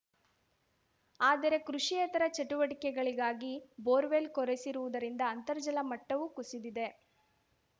ಆದರೆ ಕೃಷಿಯೇತರ ಚಟುವಟಿಕೆಗಳಿಗಾಗಿ ಬೋರ್‌ವೆಲ್‌ ಕೊರೆಸಿರುವುದರಿಂದ ಅಂತರ್‌ಜಲ ಮಟ್ಟವೂ ಕುಸಿದಿದೆ